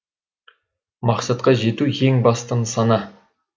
мақсатқа жету ең басты нысана